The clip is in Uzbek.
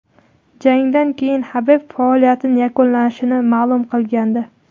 Jangdan keyin Habib faoliyatini yakunlashini ma’lum qilgandi .